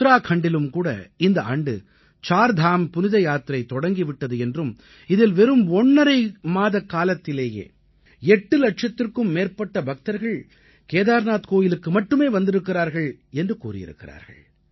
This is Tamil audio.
உத்தராக்கண்டிலும் கூட இந்த ஆண்டு சார்தாம் புனித யாத்திரை தொடங்கி விட்டது என்றும் இதில் வெறும் ஒண்ணரை மாதக்காலத்திலேயே 8 இலட்சத்திற்கும் மேற்பட்ட பக்தர்கள் கேதார்நாத் கோயிலுக்கு மட்டுமே வந்திருக்கிறார்கள் என்று கூறியிருக்கிறார்கள்